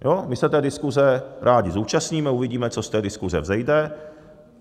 My se té diskuze rádi zúčastníme, uvidíme, co z té diskuze vzejde.